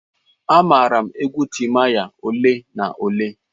Amaara m egwu Timaya ole na ole.